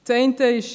Das eine ist: